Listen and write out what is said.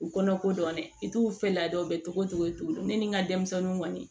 U kɔnɔko dɔn dɛ i t'u fɛ ladon cogo cogo ne ni n ka denmisɛnninw kɔni